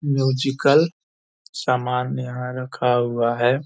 Musical समान यहाँ रखा हुआ है।